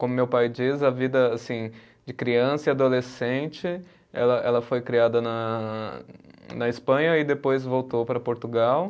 Como meu pai diz, a vida assim de criança e adolescente, ela ela foi criada na, na Espanha e depois voltou para Portugal.